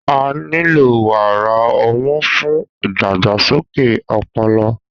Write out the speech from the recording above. A nilo wara ọmu fun idagbasoke ọpọlọ